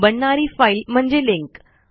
बनणारी फाईल म्हणजे लिंक